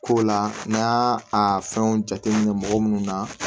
Ko la n'an y'a a fɛnw jateminɛ mɔgɔ munnu na